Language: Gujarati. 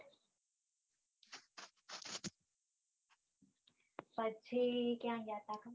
પછી ક્યાં ગયા તા